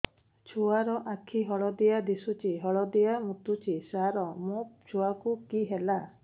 ଛୁଆ ର ଆଖି ହଳଦିଆ ଦିଶୁଛି ହଳଦିଆ ମୁତୁଛି ସାର ମୋ ଛୁଆକୁ କି ହେଲା